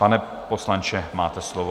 Pane poslanče, máte slovo.